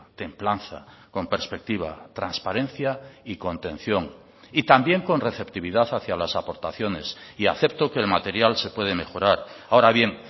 templanza con perspectiva transparencia y contención y también con receptividad hacia las aportaciones y acepto que el material se puede mejorar ahora bien